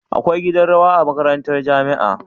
Akwai gidan rawa a makarantar jamia